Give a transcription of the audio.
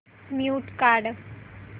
mute काढ